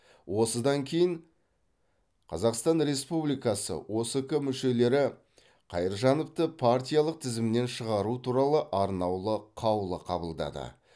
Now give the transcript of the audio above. осыдан кейін қазақстан республикасы оск мүшелері қайыржановты партиялық тізімнен шығару туралы арнаулы қаулы қабылдады